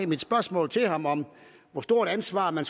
mit spørgsmål til ham om hvor stort et ansvar man